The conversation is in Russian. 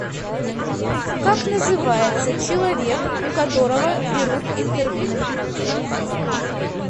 как называется человек у которого берут интервью